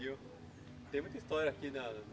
Tem muita história aqui, né?